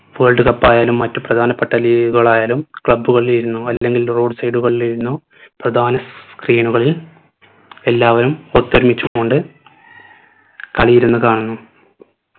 world cup ആയാലും മറ്റു പ്രധാനപ്പെട്ട league കളായാലും club കളിലിരുന്നോ അല്ലെങ്കിൽ road side കളിലിരുന്നോ പ്രധാന screen കളിൽ എല്ലാവരും ഒത്തൊരുമിച്ച് കൊണ്ട് കളി ഇരുന്ന് കാണുന്നു